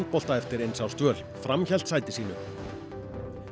eftir eins árs dvöl fram hélt sæti sínu